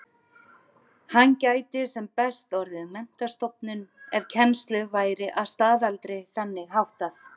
Hann gæti sem best orðið menntastofnun ef kennslu væri að staðaldri þannig háttað.